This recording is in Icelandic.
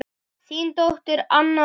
Þín dóttir, Anna Oddný.